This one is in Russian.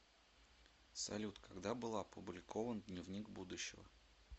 салют когда был опубликован дневник будущего